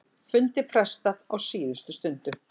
Fundi frestað á síðustu stundu